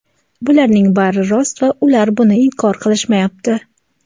bularning bari rost va ular buni inkor qilishmayapti.